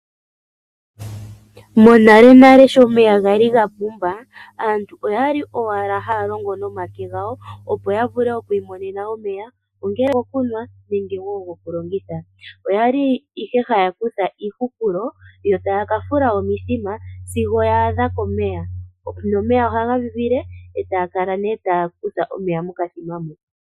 Monalenale sho omeya ga li pumba, aantu okwa li owala haya longo nomake gawo opo yi imonene omeya, ongele ogoku nwa nenge wo ogoku longitha. Oya li ihe haya kutha iihupulo yo taya ka fula omithima sigo ya adha momeya. Nomeya ohaga vivile etaya kala nee taya utha omeya mokathima mo.